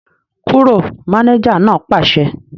Kúrò! Mánéjà náà pàṣẹ